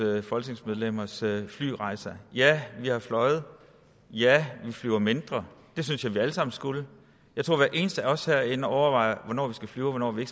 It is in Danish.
folketingsmedlemmers flyrejser ja vi har fløjet ja vi flyver mindre det synes jeg at vi alle sammen skulle jeg tror at hver eneste af os herinde overvejer hvornår vi skal flyve og hvornår vi